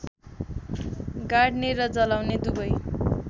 गाड्ने र जलाउने दुवै